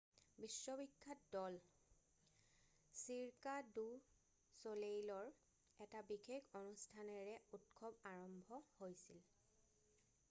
বিশ্ববিখ্যাত দল Cirque du ছলেইলৰ এটা বিশেষ অনুষ্ঠানেৰে উৎসৱ আৰম্ভ হৈছিল